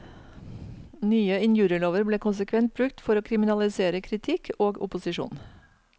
Nye injurielover ble konsekvent brukt for å kriminalisere kritikk og opposisjon.